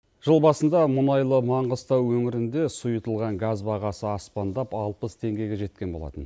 жыл басында мұнайлы маңғыстау өңірінде сұйытылған газ бағасы аспандап алпыс теңгеге жеткен болатын